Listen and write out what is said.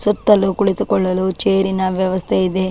ಸುತ್ತಲೂ ಕುಳಿತುಕೊಳ್ಳಲು ಚೇರ್ ನ ವ್ಯವಸ್ಥೆ ಇದೆ.